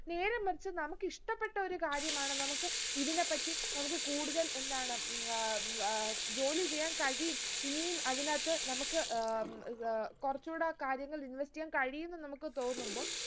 നേരെ മറിച്ച് നമുക്കിഷ്ട്ടപെട്ട ഒരു കാര്യമാണ് നമുക്ക് ഇതിനെപ്പറ്റി നമുക്ക് കൂടുതൽ എന്താണ് ആഹ് ആഹ് ജോലി ചെയ്യാൻ കഴിയും ഇനിയും അതിനകത്ത് നമുക്ക് ഏർ ഏർ കുറച്ചൂടെ കാര്യങ്ങൾ invest എയ്യാൻ കഴിയും എന്ന് നമുക്ക് തോന്നുമ്പോ